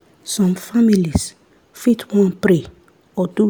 some families fit wan pray or do